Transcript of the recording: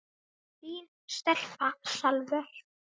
Þín stelpa, Salvör.